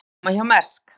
Góð afkoma hjá Mærsk